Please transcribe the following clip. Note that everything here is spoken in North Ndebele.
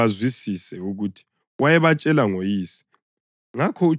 Kabazange bazwisise ukuthi wayebatshela ngoYise.